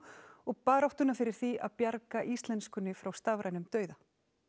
og baráttuna fyrir því að bjarga íslenskunni frá stafrænum dauða